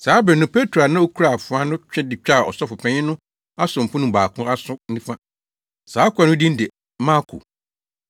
Saa bere no Petro a na okura afoa no twe de twaa ɔsɔfopanyin no asomfo no mu baako aso nifa. Saa akoa no din de Malko.